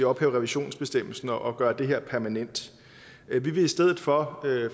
ophæve revisionsbestemmelsen og gøre det her permanent vi vil i stedet for